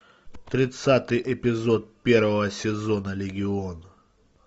тридцатый эпизод первого сезона легион